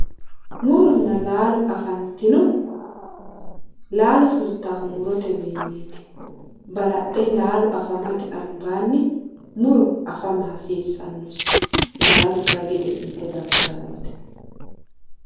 Muronna laalo affantinohu laalo fulittanohu murotewinniti ,balaxe laalo affamate albaani muro affama hasiisano, laalo kayinni gede'nite daggano .